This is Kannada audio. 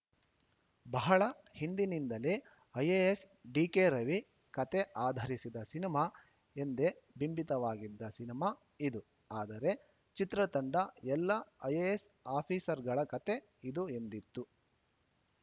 ಬಹಳ ಹಿಂದಿನಿಂದಲೇ ಐಎಎಸ್‌ ಡಿಕೆ ರವಿ ಕತೆ ಆಧರಿಸಿದ ಸಿನಿಮಾ ಎಂದೇ ಬಿಂಬಿತವಾಗಿದ್ದ ಸಿನಿಮಾ ಇದು ಆದರೆ ಚಿತ್ರತಂಡ ಎಲ್ಲಾ ಐಎಎಸ್‌ ಆಫೀಸರ್‌ಗಳ ಕತೆ ಇದು ಎಂದಿತ್ತು